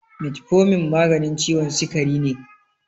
Metformin maganin ciwon sikari ne.